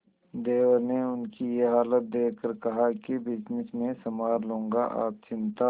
देवर ने उनकी ये हालत देखकर कहा कि बिजनेस मैं संभाल लूंगा आप चिंता